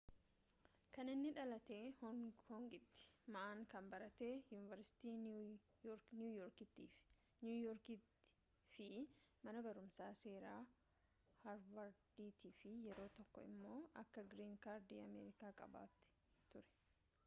kan inni dhalate hong kongiti ma'n kan baratte yuuniversitii niiwu yoorkiti fi mana barumsa seera harvarditi fi yeroo tokko immo akka green card ameerikaa qabaate ture